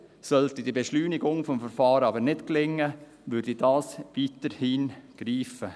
Sollte die Beschleunigung des Verfahrens aber nicht gelingen, würde das weiterhin greifen.